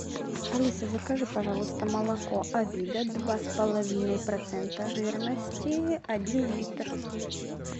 алиса закажи пожалуйста молоко авида два с половиной процента жирности один литр